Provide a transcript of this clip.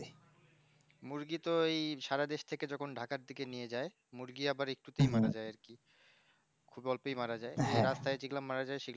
মুরগি তো এই সারা দেশ থেকে যখন দেখায় নিয়ে যাই মুরগি আবার একটু তাই মারা যায় আরকি খুব অল্পেই মারা যায় রাস্তায় যেগুলো মারা যায় সেগুলা